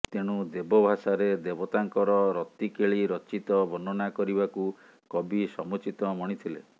ତେଣୁ ଦେବ ଭାଷାରେ ଦେବତାଙ୍କର ରତିକେଳି ରଚିତ ବର୍ଣ୍ଣନା କରିବାକୁ କବି ସମୁଚିତ ମଣିଥିବେ